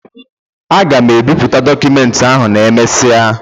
A ga m ebipụta dokumenti ahụ n'emesia